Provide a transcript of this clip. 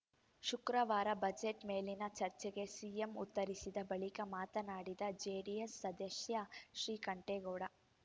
ಶುಕ್ರವಾರ ಬಜೆಟ್‌ ಮೇಲಿನ ಚರ್ಚೆಗೆ ಸಿಎಂ ಉತ್ತರಿಸಿದ ಬಳಿಕ ಮಾತನಾಡಿದ ಜೆಡಿಎಸ್‌ ಸದಸ್ಯ ಶ್ರೀಕಂಠೇಗೌಡ